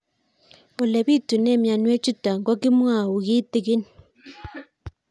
Ole pitune mionwek chutok ko kimwau kitig'ín